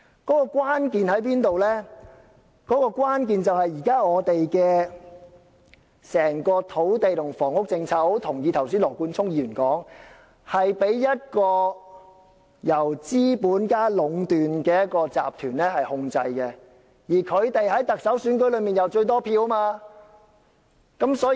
問題的關鍵在於現時整體土地及房屋政策——我十分同意羅冠聰議員剛才所說——是被一個由資本家壟斷的集團控制，而這些資本家在特首選舉中握有最多票。